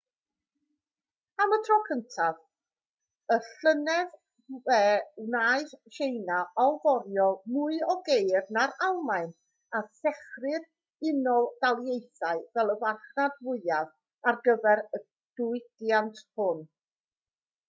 am y tro cyntaf y llynedd fe wnaeth tsieina allforio mwy o geir na'r almaen a threchu'r unol daleithiau fel y farchnad fwyaf ar gyfer y diwydiant hwn